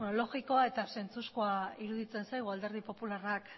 logikoa eta zentzuzkoa iruditzen zaigu alderdi popularrak